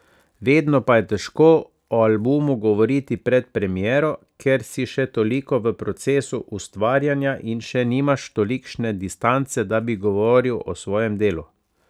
Vedno pa je težko o albumu govoriti pred premiero, ker si še toliko v procesu ustvarjanja in še nimaš tolikšne distance, da bi govoril o svojem delu.